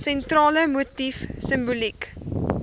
sentrale motief simboliek